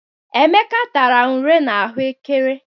Emeka tara unere na ahụ ékẹrè.